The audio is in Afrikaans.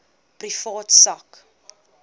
privaat sak